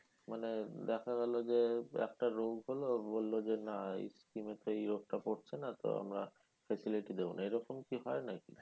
মানে দেখা গেলো যে একটা রোগ হলো ও বললো যে না এই scheme এ তো এই রোগ টা পড়ছে না তো আমরা facility দেবোনা এইরকম কি হয় নাকি?